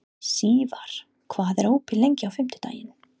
Sívar, hvað er opið lengi á fimmtudaginn?